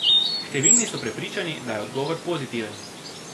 Številni so prepričani, da je odgovor pozitiven.